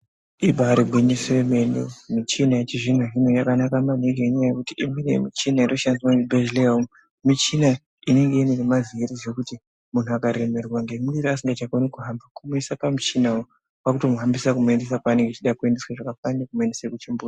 Ibarigwinyiso yemene michina yechizvino-zvino yakanaka maningi nenyaya yekuti imweni yemichina inoshandiswa muzvibhedhleya umu. Michina inenge ine nemavhiri zvekuti muntu akaremerwa ngemwiri asingakoni kuhamba kungoisa pamuchinavo kwakutomuhambisa kuendesa kwanenge achida zvakafanana nekumuendese kuchimbuzi.